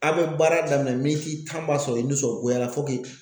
A' bɛ baara daminɛ tan b'a sɔrɔ i nisɔngoyara fɔ k'i.